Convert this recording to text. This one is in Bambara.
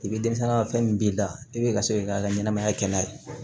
I bɛ denmisɛnnin ka fɛn min b'i la i bɛ ka se k'i ka ɲɛnamaya kɛ n'a ye